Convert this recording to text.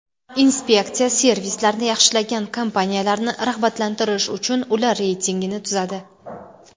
Inspeksiya servislarni yaxshilagan kompaniyalarni rag‘batlantirish uchun ular reytingini tuzadi.